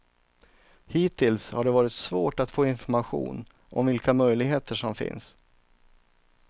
Hittills har det varit svårt att få information om vilka möjligheter som finns.